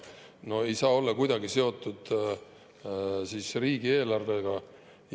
No see ei saa olla kuidagi seotud riigieelarvega.